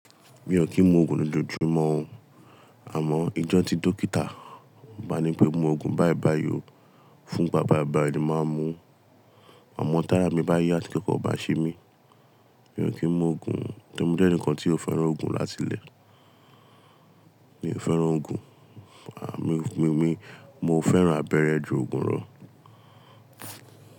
Mi ò kí ń mu òògùn lójoojúmọ́, àmọ́ ijọ́ ti dókítà bá ní pé mu òògùn báìbàìó fún ìgbà báìbàìó ni màá mú. Àmọ́ tára mi bá yá tí nkankan o bá ṣé mi, mi ò kí ń mu òògùn torí mo jẹ́ ẹnìkan tí ò fẹ́ràn òògùn láti ilé. Mi ò fẹ́ràn òògùn, mo fẹ́ràn abẹ́rẹ́ ju òògùn lọ.